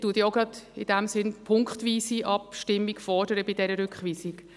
Ich fordere deshalb bei dieser Rückweisung auch gleich eine punktweise Abstimmung.